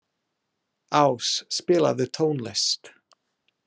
Ás, spilaðu tónlist.